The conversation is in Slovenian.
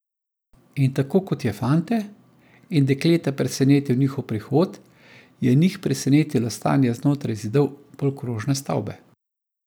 In tako kot je fante in dekleta presenetil njihov prihod, je njih presenetilo stanje znotraj zidov polkrožne stavbe.